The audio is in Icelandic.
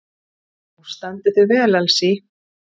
Þú stendur þig vel, Elsí!